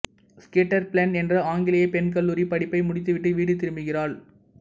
ஸ்கீட்டர் Phelan என்ற ஆங்கிலேய பெண் கல்லூரிப் படிப்பை முடித்துவிட்டு வீடு திரும்புகிறாள்